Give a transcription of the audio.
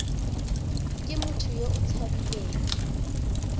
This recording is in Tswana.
ke motho yo o tshabileng